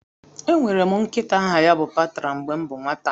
Enwere m nkịta aha ya bụ Patra mgbe m bụ nwata